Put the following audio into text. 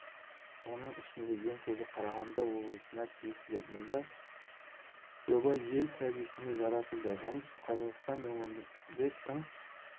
оның ішінде ең көбі қарағанды облысына тиесілі мұнда жоба ел кәдесіне жаратылады оңтүстік қазақстан өңірінде тың